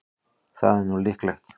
Það er nú líklega.